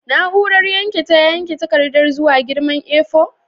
Na'urar yanke ta yanke takardar zuwa girman A4?